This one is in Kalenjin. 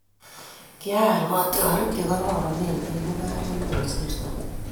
"Kial kotiorik che kororon eng mung'aret ne kosirtoi.